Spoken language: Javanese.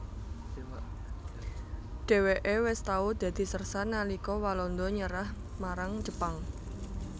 Dhèwèké wis tau dadi sérsan nalika Walanda nyerah marang Jepang